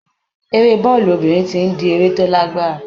Eré bọ́ọ̀lù obìnrin ti ń di eré tó lágbára.